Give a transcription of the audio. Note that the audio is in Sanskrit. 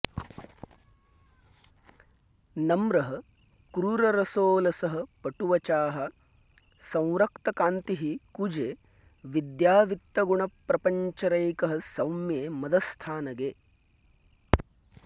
नम्रः क्रूररसोऽलसः पटुवचाः संरक्तकान्तिः कुजे विद्यावित्तगुणप्रपङ्चरैकः सौम्ये मदस्थानगे